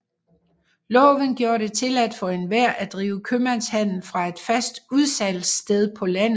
Loven gjorde det tilladt for enhver at drive købmandshandel fra et fast udsalgssted på landet